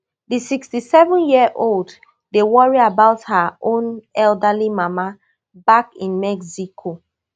di sixty-sevenyearold dey worry about her own elderly mama back in mexico